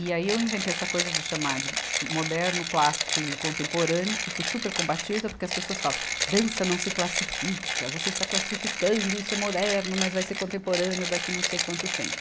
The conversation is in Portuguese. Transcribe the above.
E aí eu inventei essa coisa de chamar de moderno, clássico e contemporâneo, que foi supercombatível, até porque as pessoas falam, dança não se classifica, você está classificando, isso é moderno, mas vai ser contemporâneo daqui não sei quanto tempo.